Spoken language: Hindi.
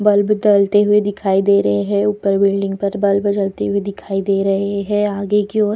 बल्ब जलते हुए दिखाई दे रहे है ऊपर बिल्डिंग पर बल्ब जलती हुई दिखाई दे रहे है आगे की ओर --